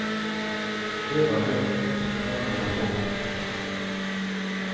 Det var det, tenkte han og la på.